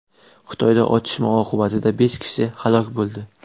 Xitoyda otishma oqibatida besh kishi halok bo‘ldi.